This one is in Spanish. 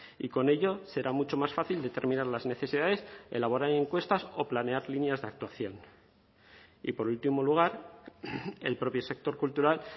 y con ello será mucho más fácil determinar las necesidades elaborar encuestas o planear líneas de actuación y por último lugar el propio sector cultural